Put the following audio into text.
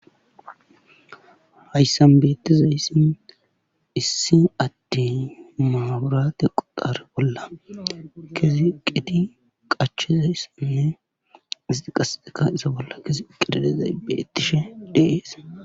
hayssan beettizayssin issi atti maaburate quxare bolla kezi qidi qachizayssinne isti qasexeka isa bolla kesi qididizay bettishe deees